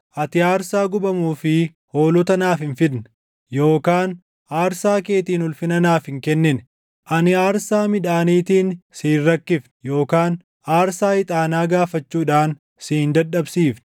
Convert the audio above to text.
Ati aarsaa gubamuu fi hoolota naaf hin fidne; yookaan aarsaa keetiin ulfina naaf hin kennine. Ani aarsaa midhaaniitiin si hin rakkifne; yookaan aarsaa ixaanaa gaafachuudhaan si hin dadhabsiifne.